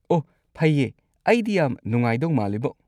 ꯑꯣꯍ ꯐꯩꯌꯦ, ꯑꯩꯗꯤ ꯌꯥꯝ ꯅꯨꯡꯉꯥꯏꯗꯧ ꯃꯥꯜꯂꯤꯕꯣ꯫